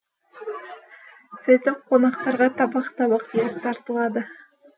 сөйтіп қонақтарға табақ табақ ет тартылады